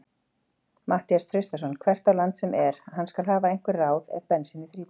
Matthías Traustason hvert á land sem er, hann skal hafa einhver ráð ef bensínið þrýtur.